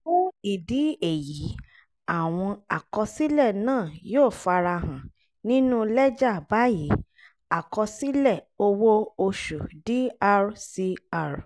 fún ìdí èyí àwọn àkọsílẹ̀ náà yóò farahàn nínú lẹ́jà báyìí: àkọsílẹ̀ owó oṣù dr cr